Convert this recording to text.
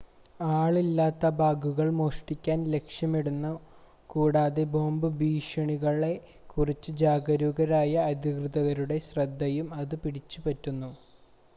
ആളില്ലാത്ത ബാഗുകൾ മോഷ്ടാക്കൾ ലക്ഷ്യമിടുന്നു കൂടാതെ ബോംബ് ഭീഷണികളെ കുറിച്ച് ജാഗരൂകരായ അധികൃതരുടെ ശ്രദ്ധയും അത് പിടിച്ചുപറ്റുന്നു